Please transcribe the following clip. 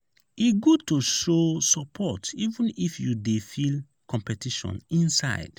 e good to show support even if you dey feel competition inside.